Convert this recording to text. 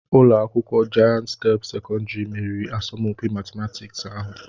Ụlọ akwụkwọ Jayent step sekọndrị meriri asọmpi matịmatịks ahụ